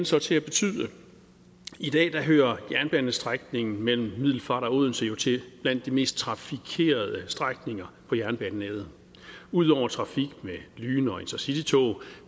så til at betyde i dag hører jernbanestrækningen mellem middelfart og odense jo til blandt de mest trafikerede strækninger på jernbanenettet udover trafik med lyn og intercitytog